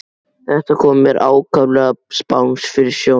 Þetta kom mér ákaflega spánskt fyrir sjónir.